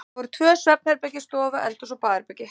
Það voru tvö svefnherbergi, stofa, eldhús og baðherbergi.